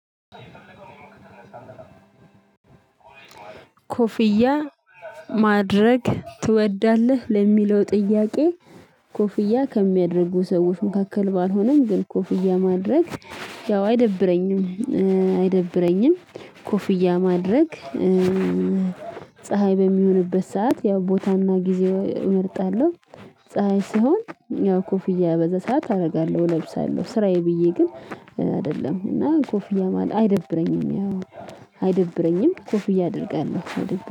ኮፍያ ማድረግ ትወዳለህ ለሚለው ጥያቄ? ኮፍያ ከሚያደርጉ ሰዎች መካከል ባልሆንም ግን ኮፍያ ማድረግ ያው አይደብረኝም አይደብረኝም ኮፍያ ማድረግ። ፀሀይ በሚሆንበት ሰዓት ያው ቦታና ጊዜ እመርጣለሁ። ፀሀይ ሲሆን ያው ኮፍያ በዛ ሰዓት አደርጋለሁ እለብሳለሁ ስራዬ ብዬ ግን አይደለም እና ኮፍያ ማለት አይደብረኝም። አይደብረኝም ኮፍዬ አደርጋለሁ